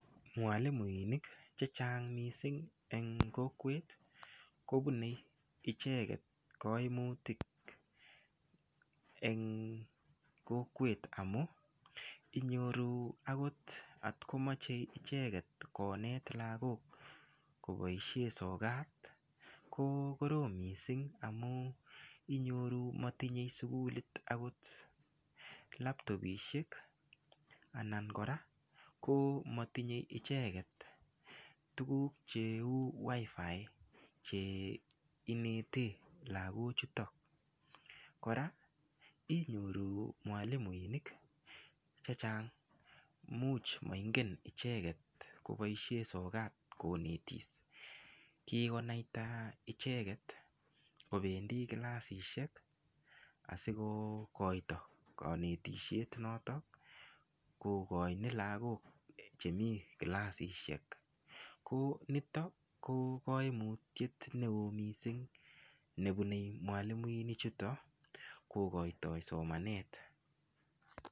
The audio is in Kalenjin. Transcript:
Mwalimuinik chechang' mising' eng' kokwet kopunei icheket koimutik eng' kokwet amun inyoru akot atkomache icheket koinet lagok kopaishe sokat ko korom mising' amun inyoru matinyei sukulit laptopishek anan koraa ko matinyei icheket tuguk cheu WiFi cheinete chutok koraa inyoru mwalimuinik chechang' much maingen icheket kopaishe sokat konetis kigonaita icheket kopendi clasishek asikokoyto kanetishiet notok kogaini lagok chemii clasishek ko nitok kokaimutyet neyoo mising' nepunei mwalimuinik chutok kogoitoy somanet.